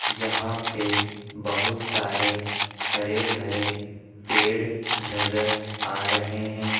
जहां पे बहुत सारे हरे भरे पेड़ नजर आ रहे हैं।